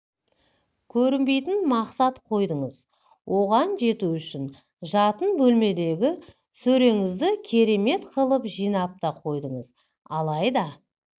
көрінбейтін мақсат қойдыңыз оған жету үшін жатын бөлмедегі сөреңізді керемет қылып жинап та қойдыңыз алайда